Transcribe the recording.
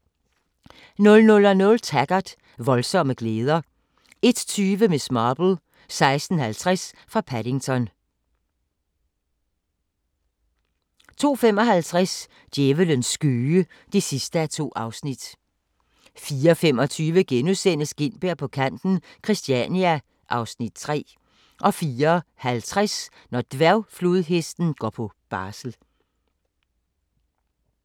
00:00: Taggart: Voldsomme glæder 01:20: Miss Marple: 16:50 fra Paddington 02:55: Djævlens skøge (2:2) 04:25: Gintberg på kanten - Christania (Afs. 3)* 04:50: Når dværgflodhesten går på barsel